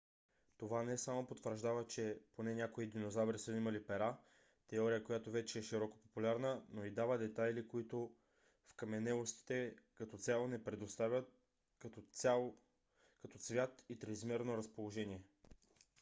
това не само потвърждава че поне някои динозаври са имали пера теория която вече е широко популярна но дава и детайли които вкаменелостите като цяло не предоставят като цвят и триизмерно разположение